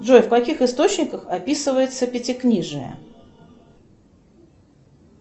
джой в каких источниках описывается пятикнижие